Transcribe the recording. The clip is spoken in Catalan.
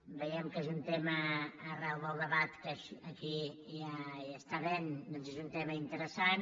veiem que és un tema que arran del debat que aquí hi està havent doncs és un tema interessant